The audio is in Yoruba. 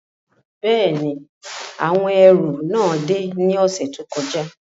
Bẹ́ẹ̀ni, awọn ẹru náà de ni ọsẹ to kọja